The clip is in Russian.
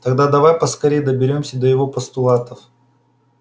тогда давай поскорее доберёмся до его постулатов